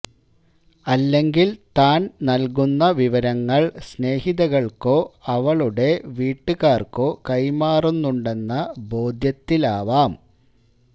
അല്ലെങ്കില് താന് നല്കുന്ന വിവരങ്ങള് സ്നേഹിതകള്ക്കോ അവളുടെ വീട്ടുകാര്ക്കോ കൈമാറുന്നുണ്ടെന്ന ബോധ്യത്താലാവാം